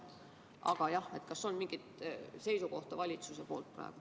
Aga jah, kas on teada mingi valitsuse seisukoht?